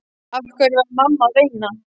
Af hverju var mamma að veina?